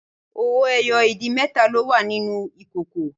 Owó ẹyọ ìdì mẹ́ta ló wà nínú ìkòkò